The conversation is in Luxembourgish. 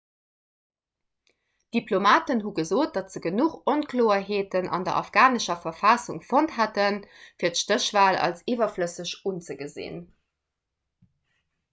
diplomaten hu gesot datt se genuch onkloerheeten an der afghanescher verfassung fonnt hätten fir d'stéchwal als iwwerflësseg unzegesinn